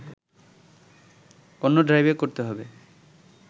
অন্য ড্রাইভে করতে হবে